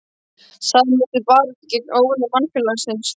Sameinumst til baráttu gegn óvinum mannfélagsins.